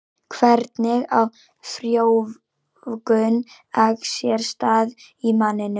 Hvernig á frjóvgun eggs sér stað í manninum?